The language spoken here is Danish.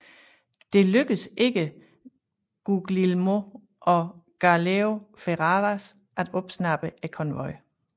Det lykkedes ikke Guglielmo og Gauleo Ferraras at opsnappe konvojen